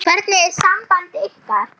Hvernig er samband ykkar?